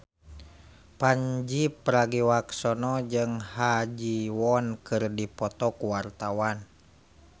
Pandji Pragiwaksono jeung Ha Ji Won keur dipoto ku wartawan